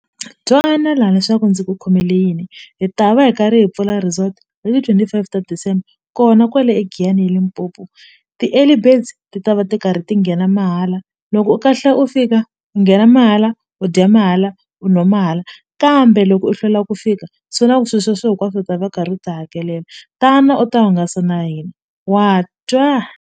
Twana la leswaku ndzi ku khomele yini hi ta va hi karhi hi pfula resort hiti twenty five ta December kona kwale eGiyani eLimpopo ti-early birds ti ta va ti karhi ti nghena mahala loko u kahla u fika u nghena mahala u dya mahala u nwa mahala kambe loko u hlwela ku fika swi la ku swi sweswe hinkwaswo u ta va karhi u ti hakelela tana u ta hungasa na hina wa twa.